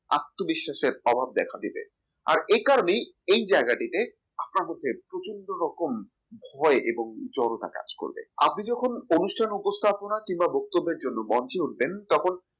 আত্মবিশ্বাসের অভাব দেখা দিবে আর এই কারণেই এই জায়গাটিতে আপনার মুখে প্রচন্ড রকম ভয় এবং জড়তা কাজ করবে আপনি যখন অনুষ্ঠান উপস্থাপনা কিংবা বক্তব্যের জন্য মঞ্চে উঠবেন তখন